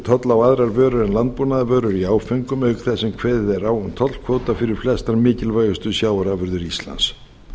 tolla á aðrar vörur en landbúnaðarvörur í áföngum auk þess sem kveðið er á um tollkvóta fyrir flestar mikilvægustu sjávarafurðir íslands